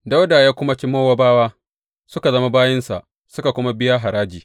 Dawuda ya kuma ci Mowabawa, suka zama bayinsa suka kuma biya haraji.